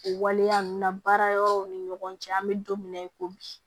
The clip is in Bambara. O waleya ninnu na baara yɔrɔw ni ɲɔgɔn cɛ an bɛ don min na i ko bi